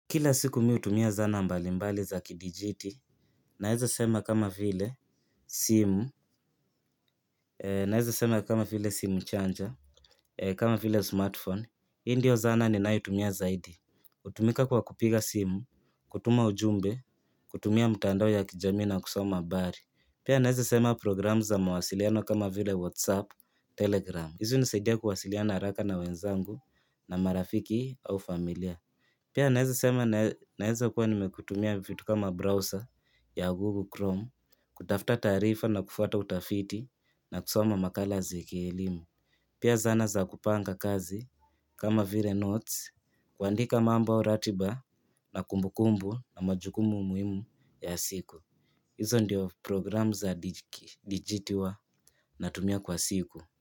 Kila siku mi hutumia zana mbalimbali za kidijiti, naeza sema kama vile simu, naeza sema kama vile simu chanja, kama vile smartphone. Hii ndio zana ninayotumia zaidi. Hutumika kwa kupiga simu, kutuma ujumbe, kutumia mtandao ya kijamii na kusoma habari. Pia naeza sema program za mawasiliano kama vile WhatsApp, Telegram. Hizi hunisaidia kuwasiliana haraka na wenzangu na marafiki au familia. Pia naeza sema naeza kuwa nimekutumia vitu kama browser ya Google Chrome kutafta taarifa na kufuata utafiti na kusoma makala za kielimu. Pia zana za kupanga kazi kama vile notes kuandika mambo au ratiba na kumbukumbu na majukumu muhimu ya siku. Hizo ndiyo program za dijiti huwa natumia kwa siku.